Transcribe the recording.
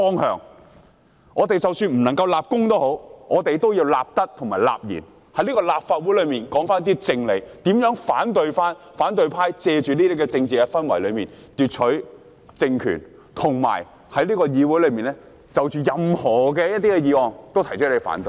即使我們不能立功，也要立德、立賢，在立法會中說出正理，阻止反對派藉着這些政治氛圍奪取政權，以及在議會中就任何議案都提出反對。